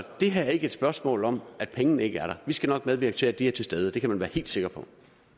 det her er ikke et spørgsmål om at pengene ikke er der vi skal nok medvirke til at de er til stede det kan man være helt sikker på